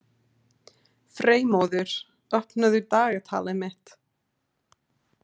Freymóður, opnaðu dagatalið mitt.